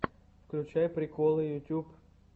включай приколы ютьюб